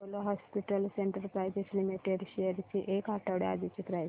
Apollo hospitals enterprise limited shares ची एक आठवड्या आधीची प्राइस